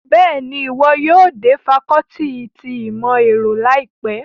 Bẹ́ẹ̀ni, iwọ yóò de facọluti ti imọ-ẹrọ laipe